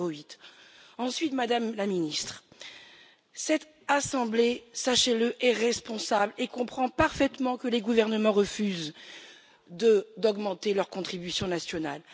1,08 Ensuite, Madame la Ministre, cette assemblée, sachez le, est responsable et comprend parfaitement que les gouvernements refusent d'augmenter leurs contributions nationales.